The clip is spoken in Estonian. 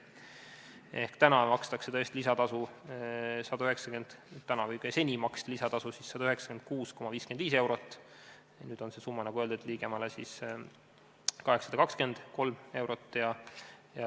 Ehk seni maksti lisatasu 196,55 eurot, nüüd on see summa 823 eurot.